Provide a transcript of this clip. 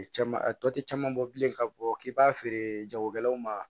Caman a tɔ ti caman bɔ bilen ka bɔ k'i b'a feere jagokɛlaw ma